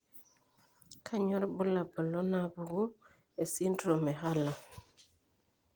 Kainyio irbulabul onaapuku esindirom eHurler?